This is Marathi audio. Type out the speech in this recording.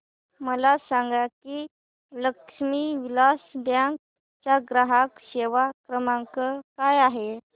मला सांगा की लक्ष्मी विलास बँक चा ग्राहक सेवा क्रमांक काय आहे